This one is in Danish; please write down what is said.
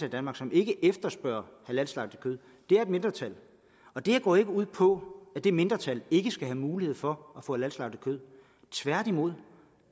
i danmark som ikke efterspørger halalslagtet kød det er et mindretal og det her går ikke ud på at det mindretal ikke skal have mulighed for at få halalslagtet kød tværtimod